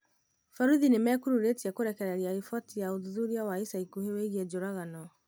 Borithi nĩ mekururĩtie kũrekereria riboti ya ũthuthuria wa ica ikuhĩ wigiĩ njũragano